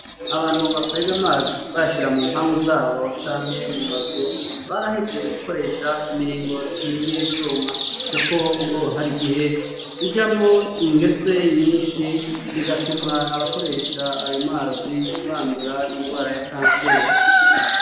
Abantu bakweg'amazi bayashira mu mpangu zabo canke mu mazu, barahevye gukoresha imiringoti y'ivyuma kuko ngo har'igihe ijamwo ingese nyinshi bigatuma abakoresha ayo mazi bandura ingwara ya kanseri.